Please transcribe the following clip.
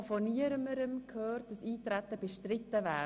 Ich habe von niemandem gehört, dass das Eintreten bestritten wäre.